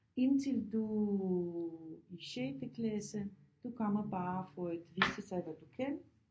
Indtil du i sjette klasse du kommer bare for at vise sig hvad du kan